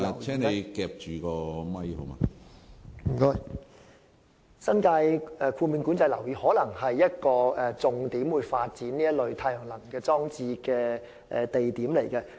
新界的豁免管制樓宇，可能會是一個發展太陽能裝置的重點。